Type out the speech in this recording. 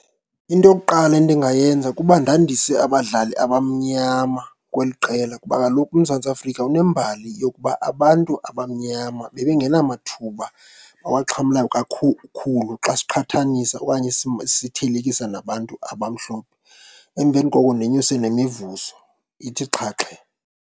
Into yokuqala endingayenza kukuba ndandise abadlali abamnyama kweli qela kuba kaloku uMzantsi Afrika unembhali yokuba abantu abamnyama bebengenamathuba bawaxhamla xa siqhathanisa okanye sithelekisa nabantu abamhlophe. Emveni koko ndenyuse nemivuzo ithi xhaxhe.